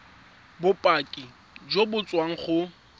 bopaki jo bo tswang go